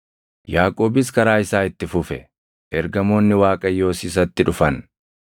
Yaaqoobis karaa isaa itti fufe; ergamoonni Waaqayyoos isatti dhufan.